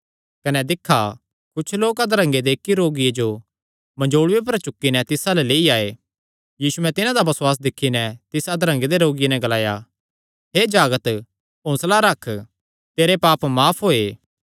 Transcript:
कने दिक्खा कुच्छ लोक अधरंगे दे इक्की रोगिये जो मंजोल़ूये पर चुक्की नैं तिस अल्ल लेई आये यीशुयैं तिन्हां दा बसुआस दिक्खी नैं तिस अधरंगे दे रोगिये नैं ग्लाया हे जागत हौंसला रख तेरे पाप माफ होये